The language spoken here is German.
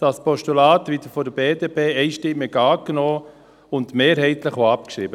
Das Postulat wird von der BDP einstimmig angenommen und mehrheitlich auch abgeschrieben.